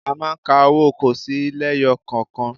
A máa ń ka owó kọ́ọ̀sì lẹ́yọkọ̀kan